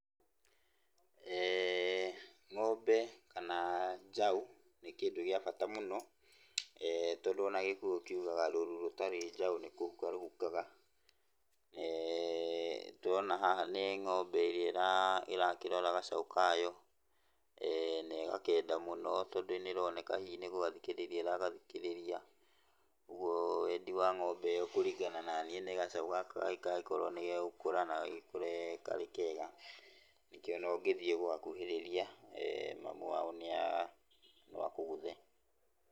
Ng'ombe kana njaũ nĩ kĩndũ gĩa bata mũno, tondũ ona Gĩkũyũ kiugaga rũru rũtarĩ njaũ nĩkũhuka rũhukaga. Tũrona haha nĩ ng'ombe ĩrĩa ĩrakĩrora gacaũ kayo, na ĩgakenda mũno tondũ nĩroneka hihi nĩgũgathikĩrĩria ĩragathikĩrĩria, ũguo wendi wa ng'ombe ĩyo kũringana na niĩ nĩ gacaũ gaka gagĩkorwo nĩgegũkũra na gagĩkũre karĩ kega, nĩkĩo ona ũngĩthiĩ gũgakuhĩrĩria, mamu wao nĩa, no akũgũthe.